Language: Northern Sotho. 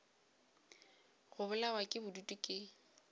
go bolawa ke bodutu ke